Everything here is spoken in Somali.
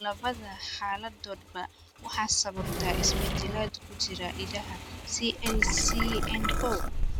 Labada xaaladoodba waxaa sababa isbeddellada ku jira hiddaha CLCN kow.